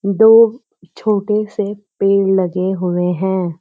दो छोटे से पेड़ लगे हुए हैं।